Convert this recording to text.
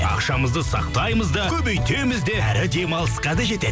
ақшаңызды сақтаймыз да көбейтеміз де әрі демалысқа да жетеді